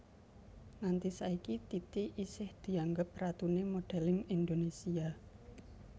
Nganti saiki Titi isih dianggep ratuné modèlling Indonésia